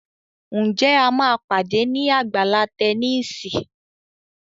Nje a má pàdé ní Àgbàlá Tẹníìsì?